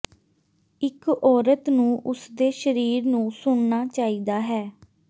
ਇੱਕ ਔਰਤ ਨੂੰ ਉਸਦੇ ਸਰੀਰ ਨੂੰ ਸੁਣਨਾ ਚਾਹੀਦਾ ਹੈ